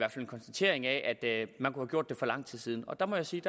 konstatering af at man kunne have gjort det for lang tid siden og der må jeg sige